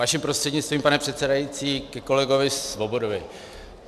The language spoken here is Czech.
Vaším prostřednictvím, pane předsedající, ke kolegovi Svobodovi.